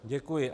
Děkuji.